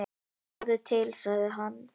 """Sjáðu til, sagði hann."""